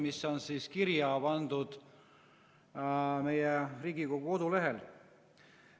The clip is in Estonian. Loen ette, mis on kirja pandud meie Riigikogu kodulehel.